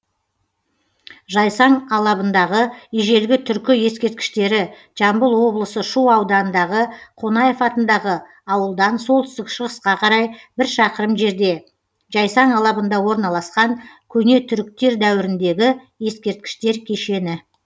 жайсаң алабындағы ежелгі түркі ескерткіштері жамбыл облысы шу аудандағы қонаев атындағы ауылдан солтүстік шығысқа қарай бір шақырым жерде жайсаң алабында орналасқан көне түріқтер дәуіріндегі ескерткіштер кешені